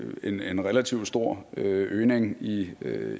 vi set en relativt stor øgning i